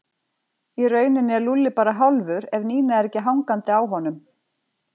Í rauninni er Lúlli bara hálfur ef Nína er ekki hangandi á honum